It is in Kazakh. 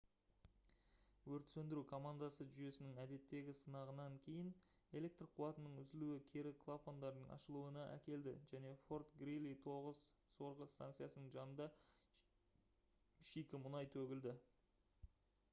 өрт сөндіру командасы жүйесінің әдеттегі сынағынан кейін электр қуатының үзілуі кері клапандардың ашылуына әкелді және fort greely 9 сорғы станциясының жанында шикі мұнай төгілді